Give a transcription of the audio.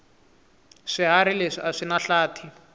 swihharhi leswi aswinahlathi